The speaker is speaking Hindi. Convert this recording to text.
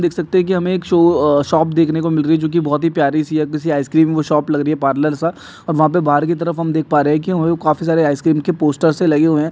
देख सकते है की हमे एक शो शॉप देखने को मिल रही है जो की बहुत ही प्यारी सी है किसी आईसक्रीम शॉप लग रही है पार्लर सा और वाह पे बार कि तरफ हम देख पा रहे है की काफी सारे आईसक्रीम के पोस्टरस् लगे हुए है।